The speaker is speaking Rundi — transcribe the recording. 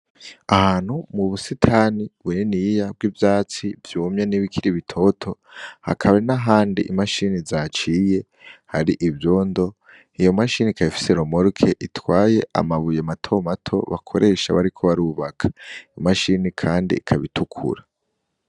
Ahantu mu busitani buniniya bw'ivyatsi vyumye n'ibikiri bitoto, hakaba hari n'ahandi i mashini zaciye hari ivyondo, iyo mashini ikaba ifise romoroke itwaye amabuye matomato bakoresha bariko barubaka, imashini kandi ikaba itukura.